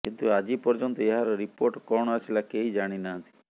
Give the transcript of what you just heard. କିନ୍ତୁ ଆଜି ପର୍ଯ୍ୟନ୍ତ ଏହାର ରିପୋର୍ଟ କଣ ଆସିଲା କେହି ଜାଣି ନାହାନ୍ତି